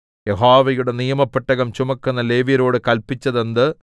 യഹോവയുടെ നിയമപെട്ടകം ചുമക്കുന്ന ലേവ്യരോട് കല്പിച്ചതെന്ത്